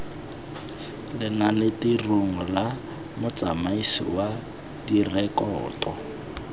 lenanetirong la motsamaisi wa direkoto